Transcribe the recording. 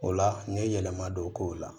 O la n ye yɛlɛma don k'o la